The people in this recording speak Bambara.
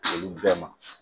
Olu bɛɛ ma